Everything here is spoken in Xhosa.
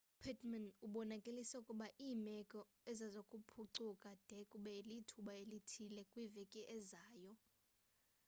upittmann ubonakalise ukuba iimeko azizokuphucuka de kube lithuba elithile kwiveki ezayo